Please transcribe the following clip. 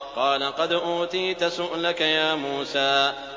قَالَ قَدْ أُوتِيتَ سُؤْلَكَ يَا مُوسَىٰ